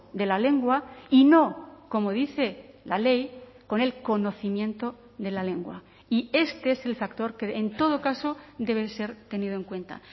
de la lengua y no como dice la ley con el conocimiento de la lengua y este es el factor que en todo caso debe ser tenido en cuenta